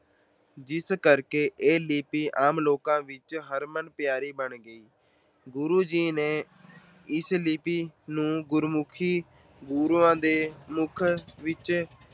ਜਿਸ ਕਾਰਨ ਇਹ ਲਿੱਪੀ ਆਮ ਲੋਕਾਂ ਵਿੱਚ ਹਰਮਨ ਪਿਆਰੀ ਬਣ ਗਈ। ਗੁਰੂ ਜੀ ਨੇ ਇਸ ਲਿੱਪੀ ਨੂੰ ਗੁਰਮੁੱਖੀ ਲਿਪੀ ਗੁਰੂਆਂ ਦੇ ਮੁੱਖ ਵਿੱਚੋਂ